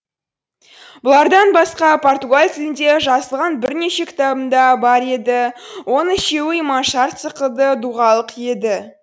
бұлардан басқа португал тілінде жазылған бірнеше кітабым да бар еді оның үшеуі иманшарт сықылды дұғалық еді